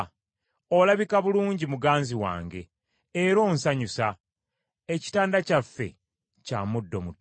Olabika bulungi muganzi wange, era onsanyusa. Ekitanda kyaffe kya muddo muto.